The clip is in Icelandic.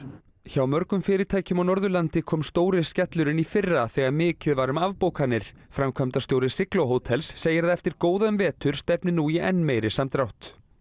hjá mörgum fyrirtækjum á Norðurlandi kom stóri skellurinn í fyrra þegar mikið var um afbókanir framkvæmdastjóri sigló hótels segir að eftir góðan vetur stefni nú í enn meiri samdrátt